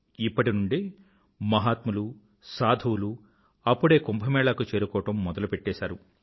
ఇప్పటి నుండే మహాత్ములు సాధువులు అప్పుడే కుంభ మేళా కు చేరుకోవడం మొదలుపెట్టేసారు